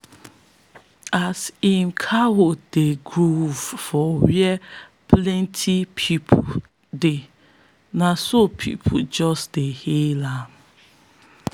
as him cows dey groove for where plenti pipo dey na so pipo just dey hail am.